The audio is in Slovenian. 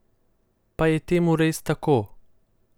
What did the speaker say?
Pa je temu res tako?